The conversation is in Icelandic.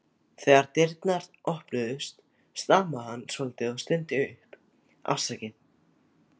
Þegar dyrnar opnuðust stamaði hann svolítið og stundi upp: Afsakið